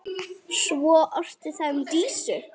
Svo orti það um Dísu.